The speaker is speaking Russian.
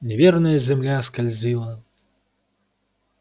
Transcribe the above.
неверная земля скользила